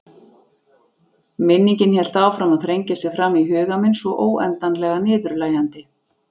Minningin hélt áfram að þrengja sér fram í huga minn svo óendanlega niðurlægjandi.